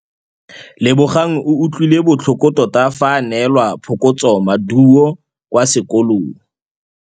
Lebogang o utlwile botlhoko tota fa a neelwa phokotsômaduô kwa sekolong.